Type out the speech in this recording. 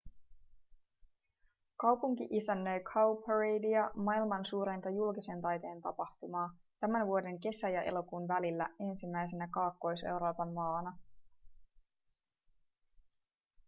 kaupunki isännöi cowparadea maailman suurinta julkisen taiteen tapahtumaa tämän vuoden kesä- ja elokuun välillä ensimmäisenä kaakkois-euroopan maana